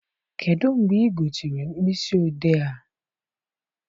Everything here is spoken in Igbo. Kedụ mgbe ị gotere mkpịsị odee a?